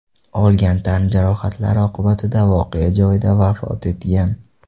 olgan tan jarohatlari oqibatida voqea joyida vafot etgan.